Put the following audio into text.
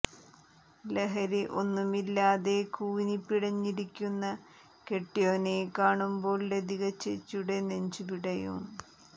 ലഹരി ഒന്നുമില്ലാതെ കൂനി പിടഞ്ഞിരിക്കുന്ന കെട്ട്യോനെ കാണുമ്പോൾ ലതിക ചേച്ചിടെ നെഞ്ച് പിടയും